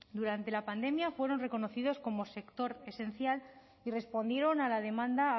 durante la pandemia fueron reconocidos como sector esencial y respondieron a la demanda